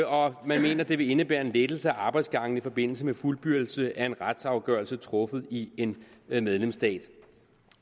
og at man mener at det vil indebære en lettelse af arbejdsgangen i forbindelse med fuldbyrdelse af en retsafgørelse truffet i en medlemsstat